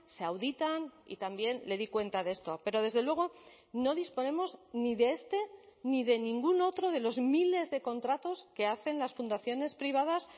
se auditan y también le di cuenta de esto pero desde luego no disponemos ni de este ni de ningún otro de los miles de contratos que hacen las fundaciones privadas